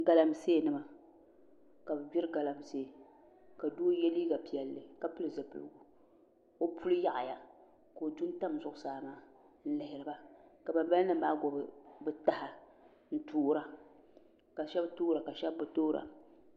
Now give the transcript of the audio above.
Galamsee nima ka bi gbiri galamsee ka doo yɛ liiga piɛlli ka pili zipiligu o puli yaɣaya ka o du n tam zuɣusaa maa n lihiriba ka banbala nim maa gbubi bi taha n toora ka shab toora ka shab bi toora